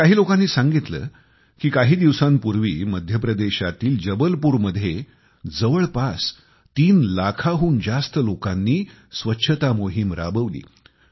मला काही लोकांनी सांगितलं की काही दिवसांपूर्वी मध्यप्रदेशातील जबलपूरमध्ये जवळपास तीन लाखाहून जास्त लोकांनी स्वच्छता मोहीम राबविली